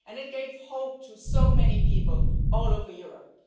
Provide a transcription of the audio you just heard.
of. It gave hope to so many people all over Europe.